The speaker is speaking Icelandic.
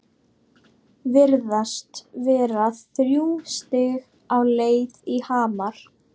Virðast vera þrjú stig á leið í Hamar?